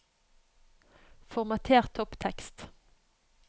Formater topptekst